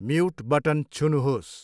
Mute button छुनुहोस्।